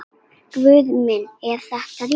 Guð minn er þetta rétt?